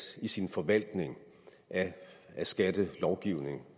i sin forvaltning af skattelovgivningen